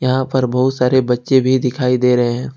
यहां पर बहुत सारे बच्चे भी दिखाई दे रहे हैं।